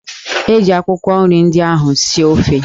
Eji akwụkwọ nri ndị ahụ sie ofe